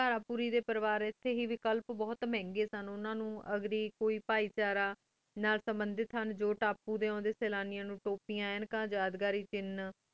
ਥਾਰ ਪੂਰੀ ਡੀ ਪੇਰੀ ਵਾਰ ਟੀ ਏਥੀ ਬੁਹਤ ਮੰਗੀ ਸਨ ਕਲਪ ਬੁਹਤ ਮੰਗੀ ਸਨ ਉਨਾ ਨੂ ਅਘ੍ਰੀ ਬੁਹਤ ਭਾਈ ਚਾਰਾ ਨਾਲ ਸੰਨ੍ਦੇਥਾ ਟੀ ਜੋ ਤਪੁ ਉਦਯ ਸ੍ਲਾਨਿਯਾਂ ਨੂ ਤੁਪੇਯਾਂ ਅਨਿਕਾਂ ਯਾਦ ਘਰੀ ਛੇ